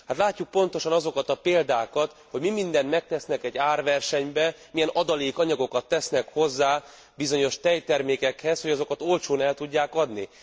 Látjuk pontosan azokat a példákat, hogy mi mindent megtesznek egy árversenyben, milyen adalékanyagokat tesznek hozzá bizonyos tejtermékekhez, hogy azokat olcsón el tudják adni.